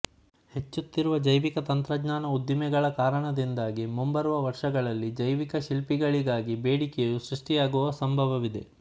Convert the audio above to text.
ಹೆಚ್ಚುತ್ತಿರುವ ಜೈವಿಕ ತಂತ್ರಜ್ಞಾನ ಉದ್ದಿಮೆಗಳ ಕಾರಣದಿಂದಾಗಿ ಮುಂಬರುವ ವರ್ಷಗಳಲ್ಲಿ ಜೈವಿಕ ಶಿಲ್ಪಿಗಳಿಗಾಗಿ ಬೇಡಿಕೆಯು ಸೃಷ್ಟಿಯಾಗುವ ಸಂಭವವಿದೆ